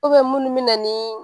munnu be na ni